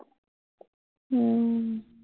উম